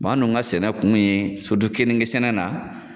an dun ka sɛnɛ kun ye, kenike sɛnɛ na